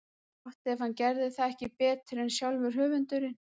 Gott ef hann gerði það ekki betur en sjálfur höfundurinn.